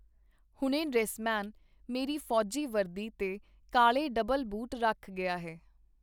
ਹੁਣੇ ਡਰੈਸਮੈਨ ਮੇਰੀ ਫੌਜੀ ਵਰਦੀ ਤੇ ਕਾਲੇ ਡਬਲ ਬੂਟ ਰੱਖ ਗਿਆ ਹੈ.